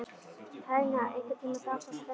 Tanya, einhvern tímann þarf allt að taka enda.